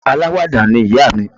Aláwàdà ni ìyá mi